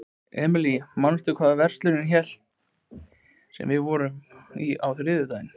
Emely, manstu hvað verslunin hét sem við fórum í á þriðjudaginn?